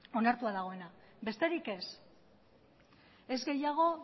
onartua dagoena besterik ez ez gehiago